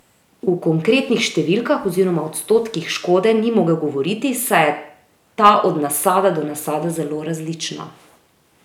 V konkretnih številkah oziroma odstotkih škode ni mogel govoriti saj je ta od nasada do nasada zelo različna.